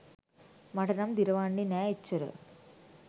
මට නම් දිරවන්නේ නෑ එච්චර.